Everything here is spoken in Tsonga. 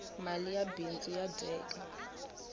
mali ya bindzu ya dyeka